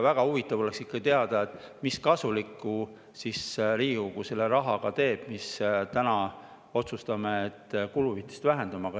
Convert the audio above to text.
Väga huvitav oleks ikkagi teada, mida kasulikku siis Riigikogu selle rahaga teeb, mille võrra me täna otsustame kuluhüvitisi vähendada.